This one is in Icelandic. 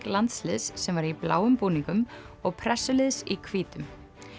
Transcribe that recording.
landsliðs sem var í bláum búningum og í hvítum